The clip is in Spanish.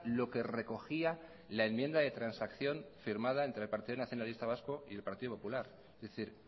lo que recogía la enmienda de transacción firmada entre el partido nacionalista vasco y el partido popular es decir